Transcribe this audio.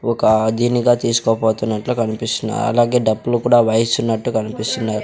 ఒక దీనిగా తిసుకోపోతున్నట్లు కనిపిస్తున్నాయ్ అలాగే డప్పులు కుడా వాయిస్తున్నట్టు కనిపిస్తున్నాయ్.